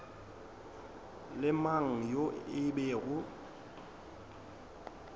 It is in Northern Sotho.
le mang yo e bego